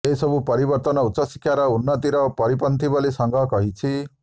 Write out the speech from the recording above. ଏହିସବୁ ପରିବର୍ତ୍ତନ ଉଚ୍ଚଶିକ୍ଷାର ଉନ୍ନତିର ପରିପନ୍ଥୀ ବୋଲି ସଂଘ କହିଛି